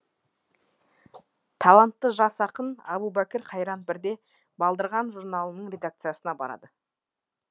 талантты жас ақын әбубәкір қайран бірде балдырған журналының редакциясына барады